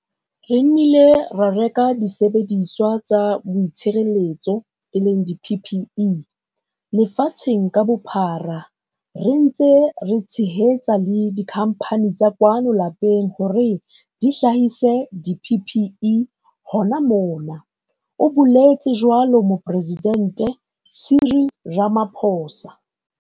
"Re nnile ra reka disebediswa tsa boitshireletso, di-PPE, lefatsheng ka bophara, re ntse re tshehetsa le dikhamphane tsa kwano lapeng hore di hlahise di-PPE hona mona," o boletse jwalo Moporesidente Cyril Ramaphosa.